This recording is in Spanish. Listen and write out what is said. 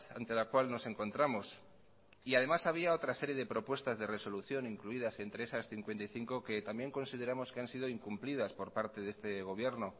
ante la cual nos encontramos y además había otra serie de propuestas de resolución incluidas entre esas cincuenta y cinco que también consideramos que han sido incumplidas por parte de este gobierno